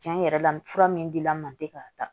Cɛn yɛrɛ la fura min dila n ma ten k'a ta